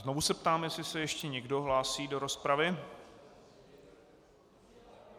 Znovu se ptám, jestli se ještě někdo hlásí do rozpravy.